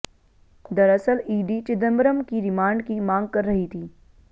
दरअसल ईडी चिदंबरम की रिमांड की मांग कर रही थी